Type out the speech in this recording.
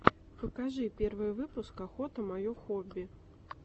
покажи первый выпуск охота мое хобби